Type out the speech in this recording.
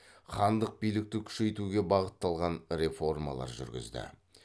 хандық билікті күшейтуге бағытталған реформалар жүргізді